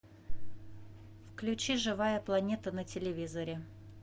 включи живая планета на телевизоре